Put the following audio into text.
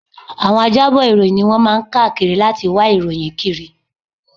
Àwọn ajábọ̀ ìròyìn ni wọ́n máa ń káàkiri láti wá ìròyìn kiri